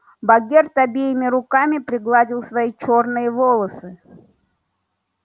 богерт обеими руками пригладил свои чёрные волосы